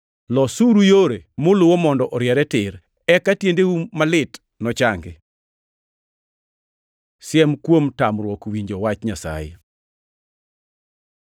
Losuru yore muluwo mondo oriere tir, eka tiendeu malit nochangi. Siem kuom tamruok winjo wach Nyasaye